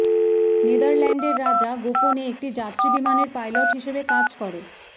নেদারল্যান্ডের রাজা গোপনে একটি যাত্রী বিমানের পাইলট হিসাবে কাজ করে